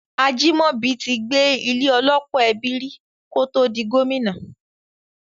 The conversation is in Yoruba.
Ajimobi ti gbé ilé - ọlọ́pọ̀ ẹbí rí kótó di Gómìnà.